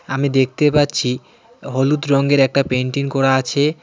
আমি দেখতে পাচ্ছি হলুদ রঙের একটা পেইন্টিন করা আছে .